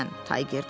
Tayger dedi.